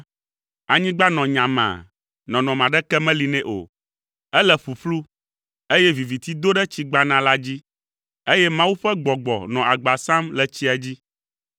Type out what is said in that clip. Anyigba nɔ nyamaa, nɔnɔme aɖeke meli nɛ o. Ele ƒuƒlu, eye viviti do ɖe tsi gbana la dzi, eye Mawu ƒe Gbɔgbɔ nɔ agba sam le tsia dzi.